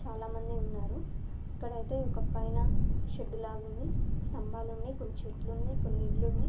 చాల మంది ఉన్నారు. ఎక్కడైతే ఒక పైన షెడ్ లాగా ఉంది. స్తంబాలూనై కొన్ని చెట్లునై కొన్ని ఇల్లునై--